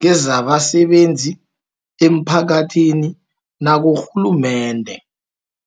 kezabasebenzi, emphakathini nakurhulumende.